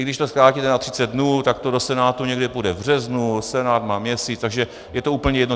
I když to zkrátíte na 30 dnů, tak to do Senátu někdy půjde v březnu, Senát má měsíc, takže je to úplně jedno.